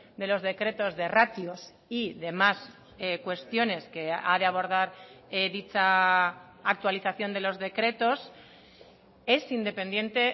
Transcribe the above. de los decretos de ratios y demás cuestiones que ha de abordar dicha actualización de los decretos es independiente